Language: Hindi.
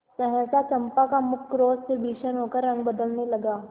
सहसा चंपा का मुख क्रोध से भीषण होकर रंग बदलने लगा